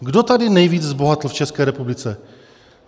Kdo tady nejvíc zbohatl v České republice?